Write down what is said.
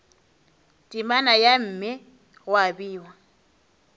temana ya mme gwa bewa